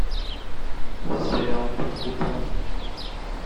сериал под куполом